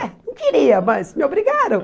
É, não queria, mas me obrigaram.